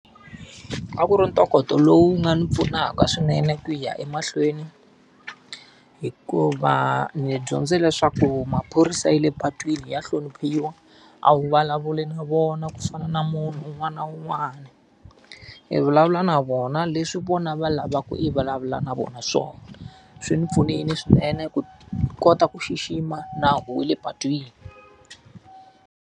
A ku ri ntokoto lowu wu nga ni pfunaka swinene ku ya emahlweni hikuva ni dyondze leswaku maphorisa ya le patwini ya hloniphiwa, a wu vulavuli na vona ku fana na munhu un'wana na un'wana. I vulavula na vona leswi vona va lavaka i vulavula na vona swona. Swi ni pfunile swinene ku kota ku xixima nawu wa le patwini.